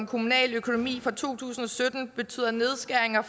kommunale økonomi for to tusind og sytten betyder nedskæringer